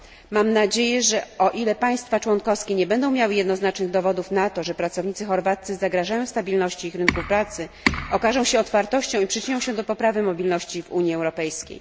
Mam nadzieję, że o ile państwa członkowskie nie będą miały jednoznacznych dowodów na to, że pracownicy chorwaccy zagrażają stabilności ich rynków pracy, wykażą się otwartością i przyczynią się do poprawy mobilności w Unii Europejskiej.